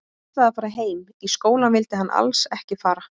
Hann ætlaði að fara heim, í skólann vildi hann alls ekki fara.